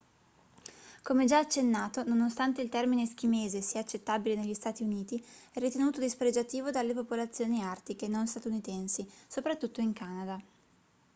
come già accennato nonostante il termine eschimese sia accettabile negli stati uniti è ritenuto dispregiativo dalle popolazioni artiche non statunitensi soprattutto in canada